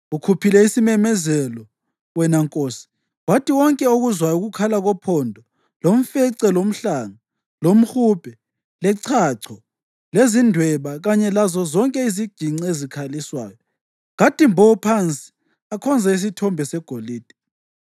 Ukhuphile isimemezelo, wena nkosi, wathi wonke okuzwayo ukukhala kophondo, lomfece, lomhlanga, lomhubhe, lechacho lezindweba kanye lazozonke iziginci ezikhaliswayo kathi mbo phansi akhonze isithombe segolide,